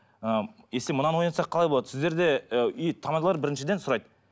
ы если мынаны ойнатсақ қалай болады сіздерде ы тамадалар біріншіден сұрайды